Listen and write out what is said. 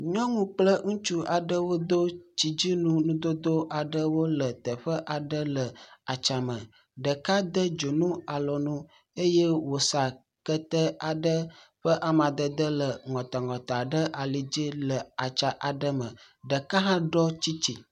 Nyɔnu kple ŋutsu aɖewo do tsidunu ŋudodo aɖewo le teƒe aɖe le atsã me. Ɖeka de dzonu alɔnu eye woxa kete aɖe ƒe amadede le ŋɔtaŋɔta ɖe ali dzi le atsã aɖe me. Ɖeka hã ɖɔ tsɛ̃tsi.